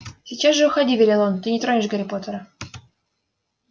сейчас же уходи велел он ты не тронешь гарри поттера